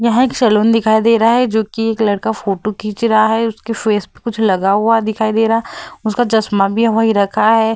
यह एक सैलून दिखाई दे रहा है जो की एक लड़का फोटो खींच रहा है उसके फेस पर कुछ लगा हुआ दिखाई दे रहा है उसका चश्मा भी वही रखा है।